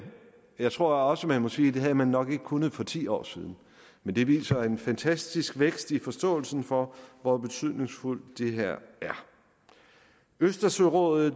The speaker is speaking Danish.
jeg tror også man må sige at det havde man nok ikke kunnet for ti år siden men det viser en fantastisk vækst i forståelsen for hvor betydningsfuldt det her er østersørådet